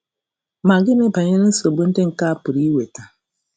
Ma gịnị banyere nsogbu ndị nke a pụrụ iweta?